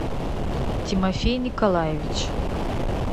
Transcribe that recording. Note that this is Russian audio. тимофей николаевич